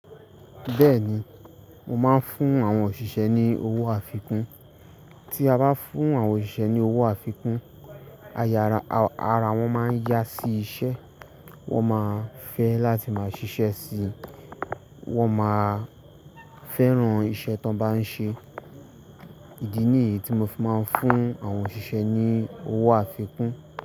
Bẹ́ẹ̀ni, mo máa ń fún àwọn òṣìṣẹ́ ní owó àfikún. Tí a bá fún àwọn òṣìṣẹ́ ní owó àfikún, a yara-- ara wọ́n máa ń yá sí iṣẹ́, wọ́n máa fẹ́ láti máa ṣiṣẹ́ sí i, wọ́n máa fẹ́ràn iṣẹ́ tí wọ́n bá ń ṣe. Ìdí nìyìí tí mo máa ń fún àwọn òṣìṣẹ́ ní owó àfikún.